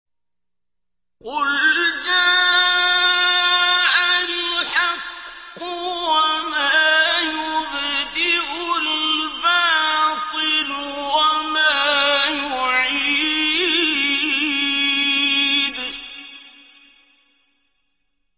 قُلْ جَاءَ الْحَقُّ وَمَا يُبْدِئُ الْبَاطِلُ وَمَا يُعِيدُ